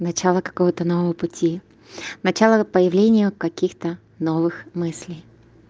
начало какого-то нового пути начала появления каких-то новых мыслей